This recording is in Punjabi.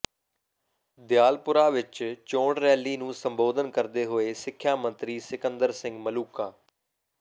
ਦਿਆਲਪੁਰਾ ਵਿੱਚ ਚੋਣ ਰੈਲੀ ਨੂੰ ਸੰਬੋਧਨ ਕਰਦੇ ਹੋਏ ਸਿੱਖਿਆ ਮੰਤਰੀ ਸਿਕੰਦਰ ਸਿੰਘ ਮਲੂਕਾ